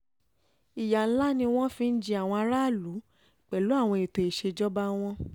ìyà ńlá ni wọ́n fi ń jẹ àwọn aráàlú pẹ̀lú àwọn ètò ìṣèjọba wọn